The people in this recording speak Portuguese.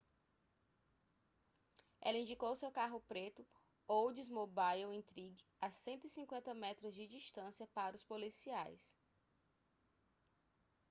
ela indicou seu carro preto oldsmobile intrigue a 150 metros de distância para os policiais